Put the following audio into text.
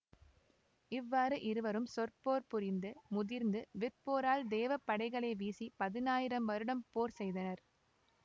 இவ்வாறு இருவரும் சொற்போர் புரிந்து முதிர்ந்து விற்போரால் தேவப் படைகளை வீசிப் பதினாயிரம் வருடம் போர் செய்தனர்